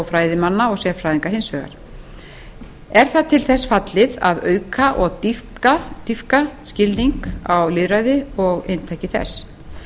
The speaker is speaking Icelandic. fræðimanna og sérfræðinga hins vegar er það til þess fallið að auka og dýpka skilning á lýðræði og inntaki þess